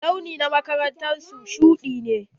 Launi na karara na su shuɗi ne.